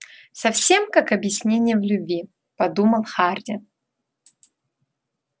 совсем как объяснение в любви подумал хардин